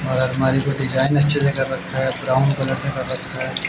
और अलमारी पे डिजाइन अच्छी जगह रखा है ब्राउन कलर में